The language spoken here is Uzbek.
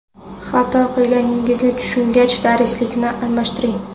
Xato qilganingizni tushungach, darslikni almashtiring.